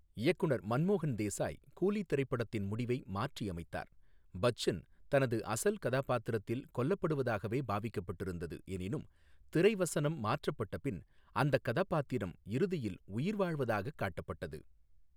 இயக்குநர் மன்மோகன் தேசாய், கூலி திரைப்படத்தின் முடிவை மாற்றியமைத்தார் பச்சன் தனது அசல் கதாபாத்திரத்தில் கொல்லப்படுவதாகவே பாவிக்கப்பட்டிருந்தது எனினும் திரைவசனம் மாற்றப்பட்ட பின் அந்தக் கதாபாத்திரம் இறுதியில் உயிர்வாழ்வதாகக் காட்டப்பட்டது.